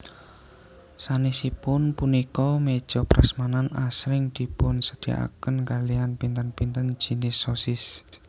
Sanesipun punika meja prasmanan asring dipunsediakaken kaliyan pinten pinten jinis sosis